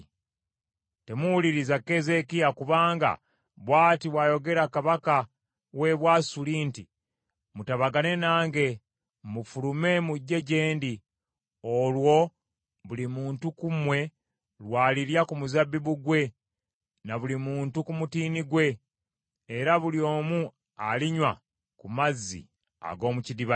“Temuwuliriza Keezeekiya kubanga bw’ati bw’ayogera kabaka w’e Bwasuli nti, ‘Mutabagane nange mufulume mujje gye ndi, olwo buli muntu ku mmwe lw’alirya ku muzabbibu gwe na buli muntu ku mutiini gwe, era buli omu alinywa ku mazzi ag’omu kidiba kye,